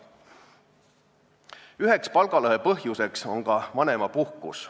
Üheks palgalõhe põhjuseks on ka vanemapuhkus.